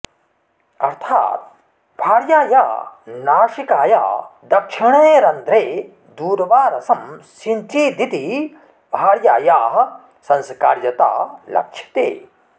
अर्थात् भार्याया नासिकाया दक्षिणे रन्ध्रे दूर्वारसं सिञ्चेदिति भार्यायाः संस्कार्यता लक्ष्यते